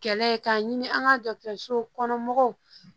Kɛlɛ ye k'a ɲini an ka dɔgɔtɔrɔsow kɔnɔ mɔgɔw